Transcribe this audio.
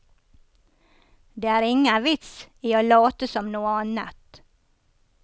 Det er ingen vits i å late som noe annet.